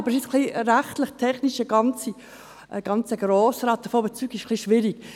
Aber rechtlich-technisch den ganzen Grossen Rat davon zu überzeugen, ist etwas schwierig.